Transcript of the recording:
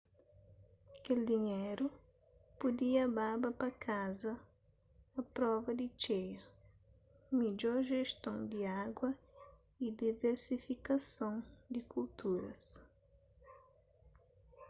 kel dinheru pudia baba pa kaza a prova di txeia midjor jeston di agu y diversifikason di kulturas